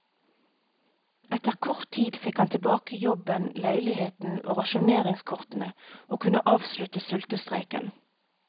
Etter kort tid fikk han tilbake jobben, leiligheten og rasjoneringskortene, og kunne avslutte sultestreiken.